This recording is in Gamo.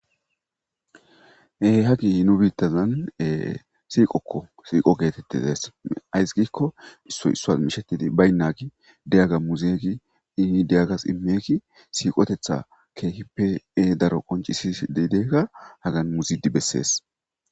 Haggey nu biittazan e siiqokko siiqo gettetizaysi ayssi giiko issoy issos mishshetidi baynaggey diiyaga muuzidi hi diyagas immiyagey siiqqotetha kehippe daaro qonccisishe deidaga haggan muuzidi besses.